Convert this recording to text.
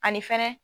Ani fɛnɛ